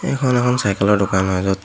এইখন এখন চাইকেলৰ দোকান হয় য'ত--